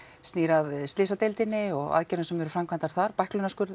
snýr að slysadeildinni og aðgerðum sem eru framkvæmdar þar